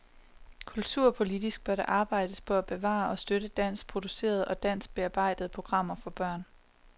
Kulturpolitisk bør der arbejdes på at bevare og støtte dansk producerede og dansk bearbejdede programmer for børn.